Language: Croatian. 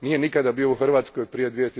Nije nikada bio u Hrvatskoj prije